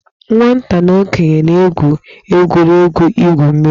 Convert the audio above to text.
Nwata na okenye na-egwu egwuregwu igwu mmiri.